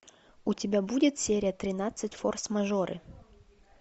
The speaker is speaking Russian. у тебя будет серия тринадцать форс мажоры